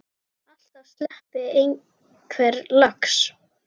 Alltaf sleppi einhver lax.